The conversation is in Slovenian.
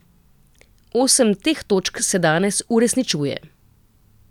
Osem teh točk se danes uresničuje.